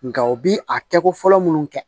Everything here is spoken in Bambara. Nka u bi a kɛ ko fɔlɔ munnu kɛ